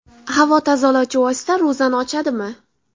Havo tozalovchi vosita ro‘zani ochadimi?.